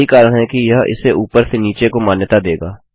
यही कारण है कि यह इसे ऊपर से नीचे को मान्यता देगा